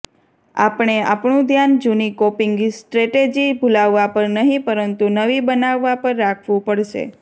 આપણે આપણું ધ્યાન જૂની કોપિંગ સ્ટ્રેટેજી ભૂલાવવા પર નહીં પરંતુ નવી બનાવવા પર રાખવું પડશે